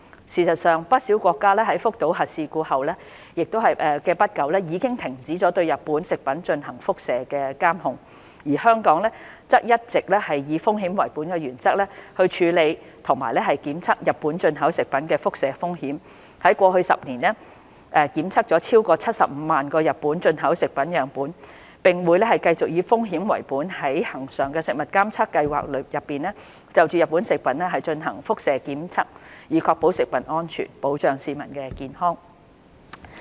事實上，不少國家在福島核事故後不久已經停止對日本食品進行輻射監控，而香港則一直以風險為本的原則，處理和檢測日本進口食品的輻射風險，在過去10年檢測了超過75萬個日本進口食品樣本，並會繼續以風險為本在恆常食物監測計劃內就日本食品進行輻射檢測，以確保食物安全，保障市民的健康。